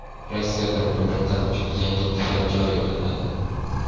Rossiyada migrantlar uchun yangi talab joriy qilinadi.